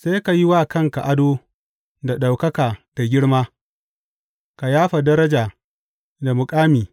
Sai ka yi wa kanka ado da ɗaukaka da girma, ka yafa daraja da muƙami.